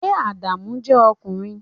Ṣé Adamu jẹ́ ọmọkùnrin?